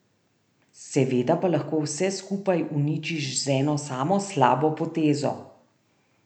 Seveda pa lahko vse skupaj uničiš z eno samo slabo potezo.